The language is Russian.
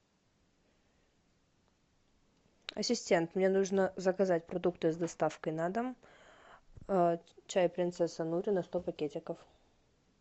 ассистент мне нужно заказать продукты с доставкой на дом чай принцесса нури на сто пакетиков